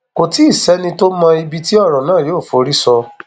kò tí ì sẹni tó mọ ibi tí ọrọ náà yóò forí sọ